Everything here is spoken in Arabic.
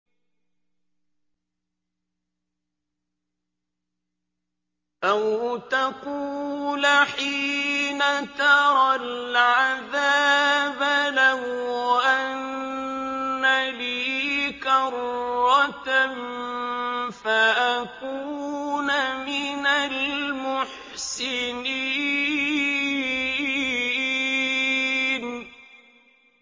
أَوْ تَقُولَ حِينَ تَرَى الْعَذَابَ لَوْ أَنَّ لِي كَرَّةً فَأَكُونَ مِنَ الْمُحْسِنِينَ